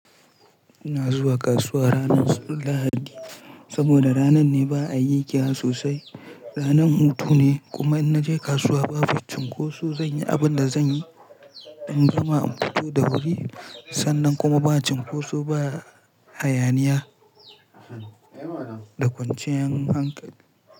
Ina zuwa kasuwa ranar lahadi saboda ranan ne ba a yi giya sosai, ranan hutu ne kuma in naje kasuwa ba fi cunkoso zan yi abin da zan yi. In gama in fito da wuri sannan kuma ba cunkoso ba hayaniya da kwanciyar hankali.